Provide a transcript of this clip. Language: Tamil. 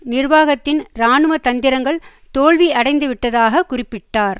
நிர்வாகத்தின் இராணுவ தந்திரங்கள் தோல்வியடைந்துவிட்டதாக குறிப்பிட்டார்